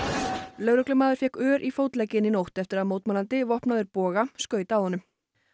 lögreglumaður fékk ör í fótlegginn í nótt eftir að mótmælandi vopnaður boga skaut að honum